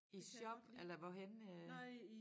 I shop eller hvorhenne øh?